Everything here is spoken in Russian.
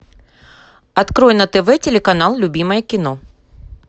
открой на тв телеканал любимое кино